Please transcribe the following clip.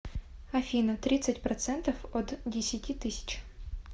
афина тридцать процентов от десяти тысяч